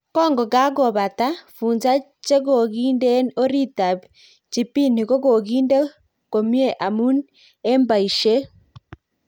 Kokokakopata, funza chekokiden orit ap jibini kokokinde komiet amun en paishet